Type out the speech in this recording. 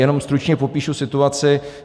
Jenom stručně popíšu situaci.